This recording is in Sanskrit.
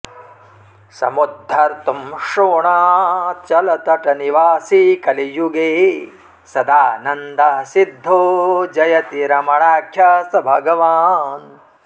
समुद्धर्तुं शोणाचलतटनिवासी कलियुगे सदानन्दः सिद्धो जयति रमणाख्यः स भगवान्